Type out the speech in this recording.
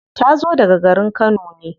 Ta zo daga garin kano ne.